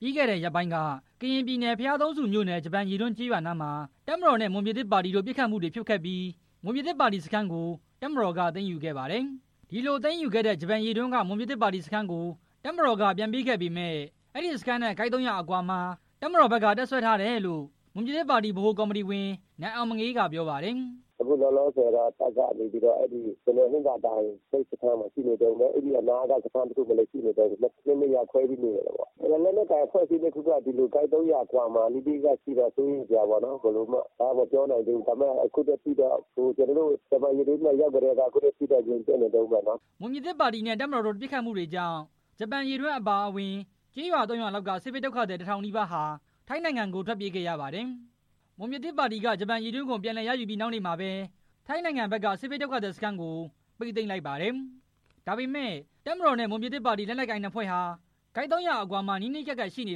ပြီးခဲ့တဲ့ရက်ပိုင်းက ကရင်ပြည်နယ် ဘုရားသုံးဆူမြို့နယ် ဂျပန်ရေတွင်းကျေးရွာနားမှာ တပ်မတော်နဲ့ မွန်ပြည်သစ် ပါတီတို့ ပစ်ခတ်မှုတွေဖြစ်ခဲ့ပြီး မွန်ပြည်သစ်ပါတီစခန်းကို တပ်မတော်က သိမ်းယူခဲ့ပါတယ်။ ဒီလိုသိမ်းယူခဲ့တဲ့ ဂျပန်ရေတွင်းက မွန်ပြည်သစ်ပါတီစခန်းကို တပ်မတော်က ပြန်ပေးခဲ့ပေမယ့် အဲစခန်းနဲ့ ကိုက် ၃၀၀ အကွာမှာ တပ်မတော်ဘက်က တပ်စွဲထားတယ်လို့ မွန်ပြည်သစ်ပါတီဗဟိုကော်မတီဝင် နိုင်အောင်မငေးက ပြောပါတယ်။ “ အခုလောလောဆယ်တော့ တပ်ကနေပြီးတော့ ဟင်္သာတိုင်စခန်းနားမှာရှိနေတုန်းဘဲ၊ အဲဒီနားက စခန်းတစ်ခု မှာလည်း ရှိနေတုန်းဘဲ၊ နှစ်နေရာခွဲပြီး နေနေတယ်ပေါ့၊ ဒီလို့လက်နက်ကိုင်နှစ်ဖွဲ့ဟာ ကိုက် ၃၀၀အကွာ မှာ နီးနီးကပ်ကပ်ရှိနေတော့ စိုးရိမ်စရာပေါ့နော် အကုန်လုံးတော့ မပြောနိုင်သေးဘူး၊ အခုထိတော့ ဂျပန်ရေတွင်း ပြန်ရောက်ကတည်းက ငြိမ်သက်နေတုန်းဘဲ” မွန်ပြည်သစ်ပါတီနဲ့ တပ်မတော်တို့ ပစ်ခတ်မှုတွေကြောင့် ဂျပန်ရေတွင်းအပါအဝင် ကျေးရွာ ၃ ရွာလောက်က စစ်ဘေးဒုက္ခသည် တစ်ထောင်နီးပါးဟာ ထိုင်းနိုင်ငံဘက်ကို ထွက်ပြေးခဲ့ရပါတယ်။ မွန်ပြည်သစ်ပါတီက ဂျပန်ရေတွင်းကို ပြန်လည်ရယူပြီး နောက်နေ့မှာဘဲ ထိုင်းနိုင်ငံဘက်က စစ်ဘေးဒုက္ခသည် စခန်းကို ပိတ်သိမ်းလိုက်ပါတယ်။ ဒါပေမယ့် တပ်မတော်နဲ့ မွန်ပြည်သစ်ပါတီ လက်နက်ကိုင်နှစ်ဖွဲ့ဟာ ကိုက် ၃၀၀ အကွာမှာ နီးနီးကပ်ကပ် ရှိနေ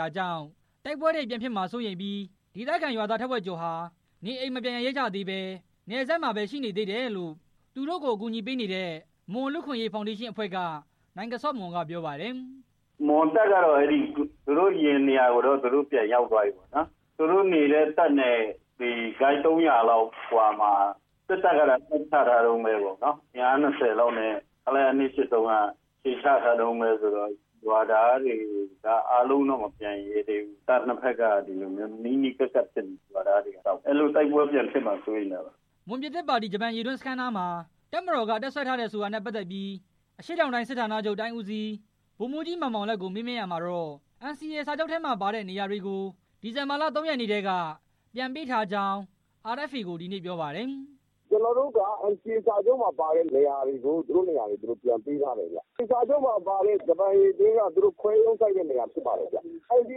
တာကြောင့် တိုက်ပွဲတွေ ပြန်ဖြစ်မှာစိုးရိမ်ပြီး ဒေသခံရွာသား ထက်ဝက်ကျော်ဟာ နေအိမ်မပြန်ရဲကြသေးဘဲ နယ်စပ်မှာဘဲ ရှိနေသေးတယ်လို့ သူတို့ကိုအကူညီပေးနေတဲ့ မွန်လူ့အခွင့်ရေးဖောင်ဒေးရှင်းအဖွဲ့က နိုင်ကဆော့မွန်ကပြောပါတယ်။ “မွန်တပ်ကတော့ သူတို့အရင်နေတဲ့နေရာကို ပြန်ရောက်သွားပြီပေါ့နော်၊ သူတို့နေတဲ့နေရာနဲ့ ကိုက် ၃၀၀ လောက်အကွာမှာ စစ်တပ်ကလည်း တပ်ချတုန်းဘဲ၊ အင်အား၂၀လောက်နဲ့ ခလရ ၂၈၃က အခြေချထား တုန်းဘဲဆိုတော့ ရွာသားတွေက အားလုံးတော့မပြန်ရဲသေးဘူး၊ တပ်နှစ်ဘက်က ဒီလိုမျိုး နီးနီးကပ်ကပ် ဖြစ်နေတော့ ရွာသားတွေကြောက်နေတာ တိုက်ပွဲပြန်ဖြစ်မှာ သူတို့စိုးရိမ်နေတာ” မွန်ပြည်သစ်ပါတီ ဂျပန်ရေတွင်းစခန်းနားမှာ တပ်မတော်က တပ်စွဲထားတယ်ဆိုတာနဲ့ ပတ်သက်ပြီး အရှေ့တောင်တိုင်း စစ်ဌာနချုပ်တိုင်းဦးစီး ဗိုလ်မှူးကြီး မောင်မောင်လတ်ကို မေးမြန်းရာမှာတော့ NCA စာချုပ် ထဲမှာပါတဲ့ နေရာတွေကို ဒီဇင်ဘာလ ၃ ရက်နေ့ထဲက ပြန်ပေးထားကြောင်း RFA ကို ဒီနေ့ ပြောပါတယ်။ “ကျနော်တို့က NCA စာချုပ်မှာပါတဲ့နေရာတွေကို သူတို့နေရာသူတို့ ပြန်ပေးထားတယ်ဗျ၊ NCA စာချုပ်မှာပါတဲ့ ဂျပန်ရေတွင်းက သူတို့ ခွဲရုံးစိုက်တဲ့နေရာ ဖြစ်ပါတယ်ဗျ၊ ဟင်္သာတိုင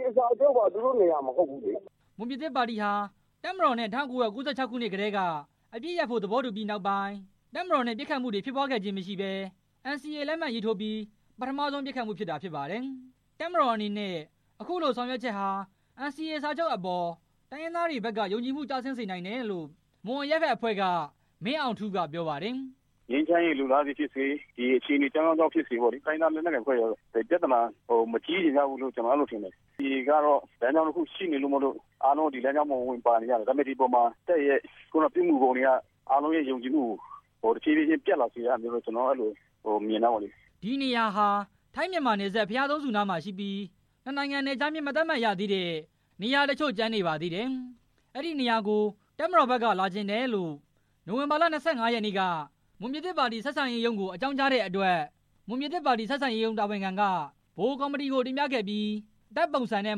်က NCA စာချုပ်မှာ သူတို့နေရာ မဟုတ်ဘူးလေ” မွန်ပြည်သစ်ပါတီဟာ တပ်မတော်နဲ့ ၁၉၉၆ ခုနှစ်ကတည်း အပစ်ရပ်ဖို့သဘောတူပြီးနောက်ပိုင်း တပ်မတော်နဲ့ ပစ်ခတ်မှုတွေ ဖြစ်ပွားခဲ့ခြင်းမရှိဘဲ NCA လက်မှတ်ရေးထိုးပြီး ပထမဆုံး ပစ်ခတ်မှုဖြစ်တာဖြစ်ပါတယ်။ တပ်မတော်အနေနဲ့ အခုလိုဆောင်ရွက်ချက်ဟာ NCA စာချုပ်အပေါ် တိုင်းရင်းသားတွေဘက်က ယုံကြည်မှု ကျဆင်းစေနိုင်တယ်လို့ မွန်အရပ်ဘက်အဖွဲ့က မင်းအောင်ထူးကပြောပါတယ်။ “ငြိမ်းချမ်းရေး လိုလားလို့ဖြစ်စေ၊ အခြေအနေ အကြောင်းကြောင်းကြောင့် ဖြစ်စေ၊ တိုင်းရင်းသားလက်နက်ကိုင် တွေကတော့ ပြဿနာမကြီးကြဘူးလို့ ကျနော်ကတော့ ထင်တယ်၊ NCA ကတော့ လမ်းကြောင်းတစ်ခုရှိနေလို့ အားလုံးကဝင်ပါနေရတာ၊ ဒါပေမဲ အပေါ်မှာ တပ်ရဲ့ ပြုမှုပုံတွေက အားလုံးရဲ့ ယုံကြည်မှုကို တဖြည်းဖြည်း ပျက်လာစေတယ်လို့ ကျနော်ကတော့ အဲလို့မြင်တယ်” အဲဒီနေရာဟာ ထိုင်း၊ မြန်မာနယ်စပ် ဘုရားသုံးဆူနားမှာရှိပြီး နှစ်နိုင်ငံနယ်ခြားမျဉ်း မသတ်မှတ်ရသေးတဲ့ နေရာ တချို့ ကျန်နေပါသေးတယ်။ အဲဒီနေရာကို တပ်မတော်ဘက်က လာချင်တယ်လို့ နိုဝင်ဘာလ ၂၅ ရက်နေ့က မွန်ပြည်သစ်ပါတီဆက်ဆံရေးရုံးကို အကြောင်းကြားတဲ့အတွက် မွန်ပြည်သစ်ပါတီ ဆက်ဆံရေးရုံး တာဝန်ခံက ဗဟိုကော်မတီကိုတင်ပြခဲ့ပြီး တပ်ပုံစံနဲ့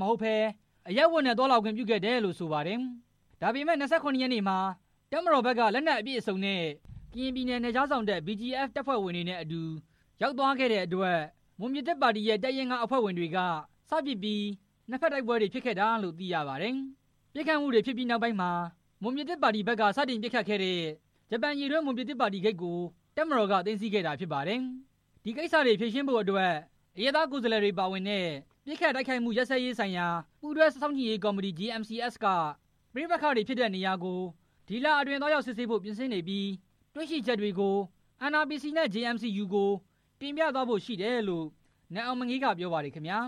မဟုတ်ဘဲ အရပ်ဝတ်နဲ့ သွားခွင့်ပြုခဲ့တယ်လို့ဆိုပါတယ်။ ဒါပေမဲ့ ၂၇ ရက်နေ့မှာ တပ်မတော်ဘက်က စစ်လက်နက်အပြည့်အစုံနဲ့ ကရင်ပြည်နယ် နယ်ခြားစောင့် BGF တပ်ဖွဲ့ဝင်တွေနဲ့အတူ ရောက်သွားတဲ့အတွက် မွန်ပြည်သစ်ပါတီရဲ့ တပ်ရင်း (၅) အဖွဲ့ဝင်တွေက စပစ်ပြီး နှစ်ဖက်တိုက်ပွဲ ဖြစ်ခဲ့တာလို့သိရပါတယ်။ ပစ်ခတ်မှုတွေဖြစ်ပြီးနောက်မှာ မွန်ပြည်သစ်ပါတီဘက်က စတင်ပစ်ခတ်ခဲ့တဲ့ ဂျပန်ရေတွင်းရွာ မွန်ပြည်သစ်ပါတီ ဂိတ်ကို တပ်မတော်က သိမ်းဆည်းခဲ့တာဖြစ်ပါတယ်။ ဒီကိစ္စတွေကိုဖြေရှင်းဖို့အတွက် အရပ်သားကိုယ်စားလှယ်တွေပါဝင်တဲ့ ပစ်ခတ်တိုက်ခိုက်မှု ရပ်စဲရေးဆိုင်ရာ ပူးတွဲ စောင့်ကြည့်ရေးကော်မတီ JMC(s) က ပဋိပက္ခဖြစ်တဲ့နေရာကို ဒီလအတွင်းသွားရောက်စစ်ဆေးဖို့ ပြင်ဆင် နေပြီး တွေ့ရှိချက်တွေကို NRPC နဲ့ JMC(U)ကို တင်ပြသွားဖို့ရှိတယ်လို့ နိုင်အောင်မငေးက ပြောပါတယ်ခင်ဗျာ